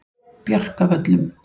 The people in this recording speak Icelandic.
Bjarkavöllum